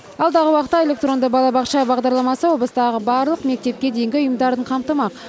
алдағы уақытта электронды балабақша бағдарламасы облыстағы барлық мектепке дейінгі ұйымдарын қамтымақ